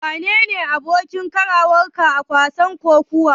Wane ne abokin karawarka a wasan kokawar?